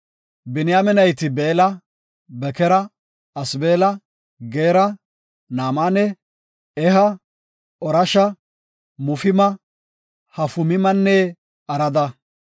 Biniyaame nayti Beella, Bekera, Asbeela, Geera, Naamane, Eha, Orosha, Mufima, Hufimanne Arada.